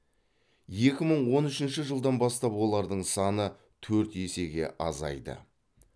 екі мың он үшінші жылдан бастап олардың саны төрт есеге азайды